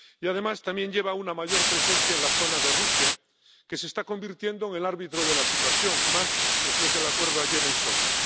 Y además también conlleva una mayor presencia en la zona de Rusia, que se está convirtiendo en el árbitro de la situación, más después del acuerdo ayer en Sochi.